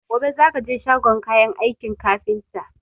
Gobe za ka je shagon kayan aikin kafinta!